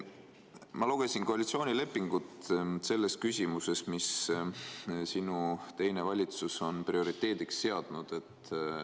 Ma lugesin koalitsioonilepingut selles küsimuses, mis sinu teine valitsus on prioriteediks seadnud.